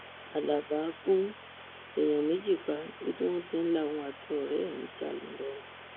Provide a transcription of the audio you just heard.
halábá gún èèyàn méjì pa níbi tí wọn ti ń la òun àti ọrẹ ẹ níjà ńìlọrin